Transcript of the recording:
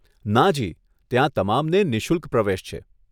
નાજી, ત્યાં તમામને નિશુલ્ક પ્રવેશ છે.